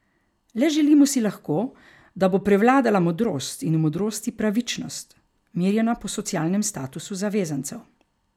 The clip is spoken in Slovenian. Le želimo si lahko, da bo prevladala modrost in v modrosti pravičnost, merjena po socialnem statusu zavezancev.